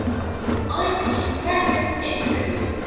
ip packets entirely